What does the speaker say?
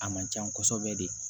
A man can kosɛbɛ de